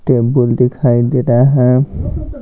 Table दिखाई दे रहा है।